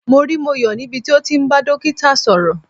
Mo rí Moyo níbi tí ó ti ń bá dókítà sọ̀rọ̀.